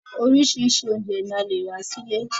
Orísirísi oúnjẹ ni a le rà sí ilé